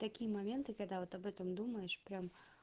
такие моменты когда вот об этом думаешь прям